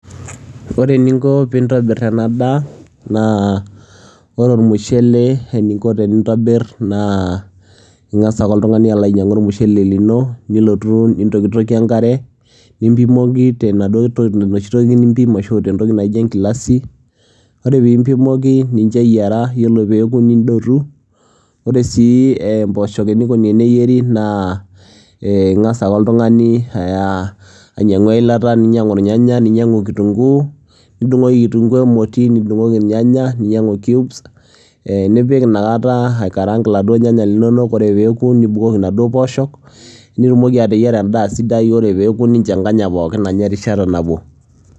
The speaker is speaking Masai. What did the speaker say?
Wore ininko tenitobir enasiai naa , wore ormushele teninko tenitobir naa ingas oltungani alo ainyangu ormushele lino nilotu nintokitokie enkare, nimpimoki tenosho toki nipim arashu tentoki naijo enkilasi. Wore pii impimoki ninjo eyiara yiolo peeku nidotu. Wore sii mpoosho enikoni tenyieri naa eeh ingas oltungani ainyangu eilata, ninyangu irnyanya, ninyangu kitunguu, nidungoki kitunguu emoti , nidungoki irnyanya ninyangu cubes nipik inakataa aikarang iladuo nyanya linonok wore peeku nibukoki naduo poshok nitumoki ateyiera endaa sidai wore peeku nichanganya pookin anya erishata nabo.